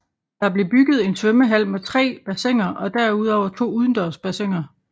Der blev bygget en svømmehal med tre bassiner og derudover to udendørs bassiner